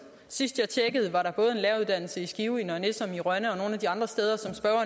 sidst jeg tjekkede var der både en læreruddannelse i skive i nørre nissum i rønne og nogle af de andre steder